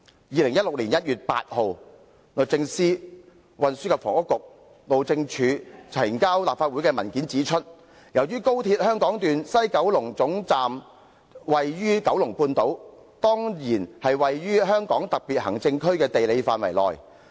2016年1月8日，律政司、運輸及房屋局和路政署呈交立法會的文件指出："由於高鐵香港段西九龍總站位處九龍半島，當然是位於香港特別行政區的地理範圍內。